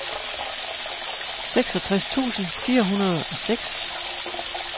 seksogtres tusind fire hundrede og seks